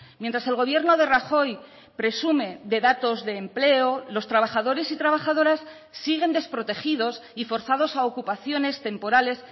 mientras el gobierno de rajoy presume de datos de empleo los trabajadores y trabajadoras siguen desprotegidos y forzados a ocupaciones temporales